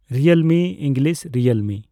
ᱨᱤᱭᱚᱞᱢᱤ ᱤᱝᱞᱤᱥᱺ ᱨᱤᱭᱮᱞᱢᱤ।